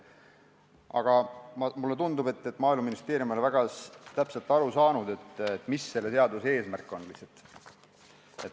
Aga mulle tundub, et Maaeluministeerium ei ole väga täpselt aru saanud, mis selle eelnõu eesmärk on.